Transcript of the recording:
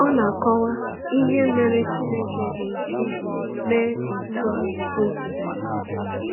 Ọ na-akọwa ihe mere Chineke ga-eji mee otú o zubere.